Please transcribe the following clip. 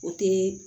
O te